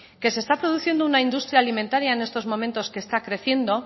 que se está produciendo una industria alimentaria en estos momentos que está creciendo